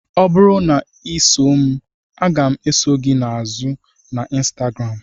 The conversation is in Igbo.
Ọ bụrụ na ị na-eso m, m ga-eso gị azụ na Instagram.